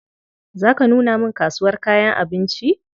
Za ka nuna min kasuwar kayan abinci?